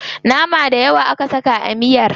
Nama dayawa aka saka a miyar.